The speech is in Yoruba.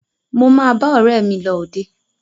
Mo máa bá ọ̀rẹ́ mi lọ òde.